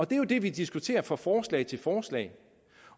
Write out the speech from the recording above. det er jo det vi diskuterer fra forslag til forslag